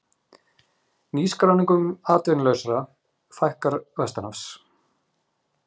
Nýskráningum atvinnulausra fækkar vestanhafs